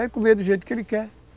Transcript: É comer do jeito que ele quer.